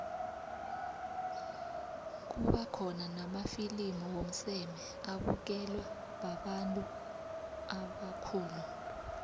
kuba khona namafilimu womseme abukelwa babantu ubakhulu